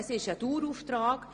Es ist ein Dauerauftrag.